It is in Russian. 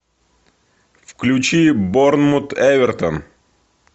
включи борнмут эвертон